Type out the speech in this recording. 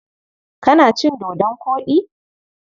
Kana cin dodon koɗi?